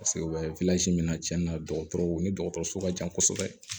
Paseke u bɛ min na cɛn na dɔgɔtɔrɔw ni dɔgɔtɔrɔso ka ca kosɛbɛ